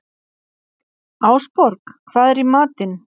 Ásborg, hvað er í matinn?